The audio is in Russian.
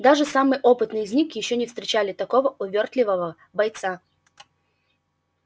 даже самые опытные из них ещё не встречали такого увёртливого бойца